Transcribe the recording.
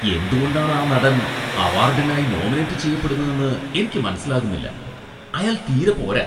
എന്തുകൊണ്ടാണ് ആ നടൻ അവാർഡിനായി നോമിനേറ്റ് ചെയ്യപ്പെടുന്നെന്ന് എനിക്ക് മനസ്സിലാകുന്നില്ല. അയാൾ തീരെ പോരാ.